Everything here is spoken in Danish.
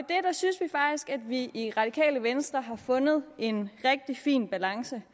vi i radikale venstre har fundet en rigtig fin balance